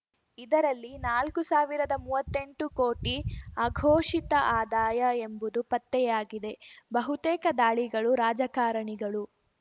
ಇದರಲ್ಲಿ ನಾಲ್ಕು ಸಾವಿರದ ಮೂವತ್ತೆಂಟು ಕೋಟಿ ಅಘೋಷಿತ ಆದಾಯ ಎಂಬುದು ಪತ್ತೆಯಾಗಿದೆ ಬಹುತೇಕ ದಾಳಿಗಳು ರಾಜಕಾರಣಿಗಳು